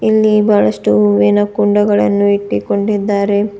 ಇಲ್ಲಿ ಬಹಳಷ್ಟು ಏನೋ ಕುಂಡಗಳನ್ನು ಇಟ್ಟಿಕೊಂಡಿದ್ದಾರೆ.